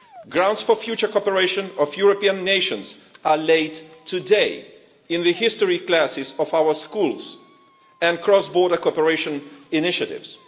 Grounds for the future cooperation of European nations are laid today in the history classes of our schools and cross-border cooperation initiatives.